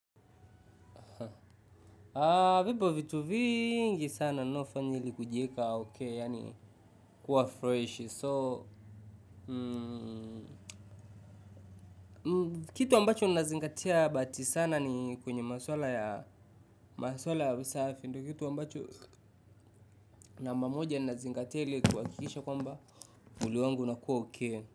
Vipo vitu vingi sana naofanya ili kujieka ok yaani kuwa fresh. So kitu ambacho nazingatia bati sana ni kwenye maswala ya maswala ya usafi ndo kitu ambacho namba moja nazingatia ili kuhakikisha kwamba mwili wangu unakuwa ok.